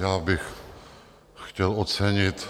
Já bych chtěl ocenit,